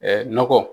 nɔgɔ